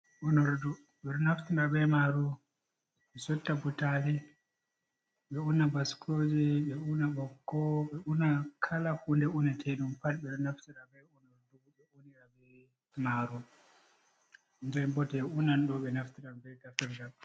Unordu, ɓe ɗo naftira be maaru sotta butaali, ɓe una baskooje, ɓe una ɓikko ɓe una kala huunde unateeɗum pat. Ɓe naftira bee unordu ɓe unira maaru jee bo jee unan ɗoo, ɓe ɗo naftira bee taferjal.